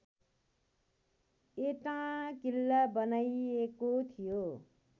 एटाँ किल्ला बनाइएको थियो